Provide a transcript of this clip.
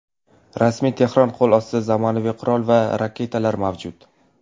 Rasmiy Tehron qo‘l ostida zamonaviy qurol va raketalar mavjud.